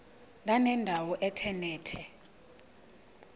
ndanendawo ethe nethe